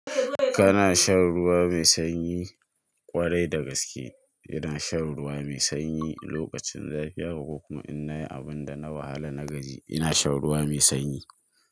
Kana shan ruwa mai sanyi ƙwarai da gaske. Ina shan ruwa mai sanyi lokacin zafi, haka ko kuma in nayi abun da na wahala na gaji, ina shan ruwa mai sanyi.